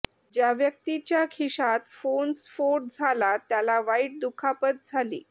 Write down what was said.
ज्या व्यक्तीच्या खिशात फोन स्फोट झाला त्याला वाईट दुखापत झाली